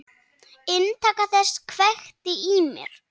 Inntak þess kveikti í mér.